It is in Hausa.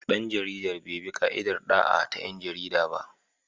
Dan jaridar bai bi ka'idar da'a ta 'yan jarida ba.